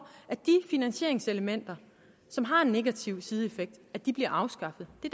at de finansieringselementer som har en negativ sideeffekt bliver afskaffet det